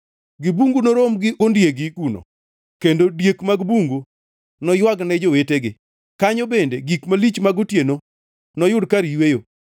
Gi bungu norom gondiegi kuno, kendo diek mag bungu noywagne jowetegi; kanyo bende gik malich mag otieno noyud kar yweyo.